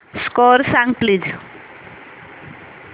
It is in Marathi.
स्कोअर सांग प्लीज